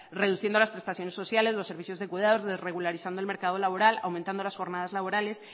reduciendo las prestaciones sociales los servicios de cuidados desregularizando el mercado laboral aumentando las jornadas laborales